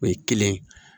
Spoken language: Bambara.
O ye kelen ye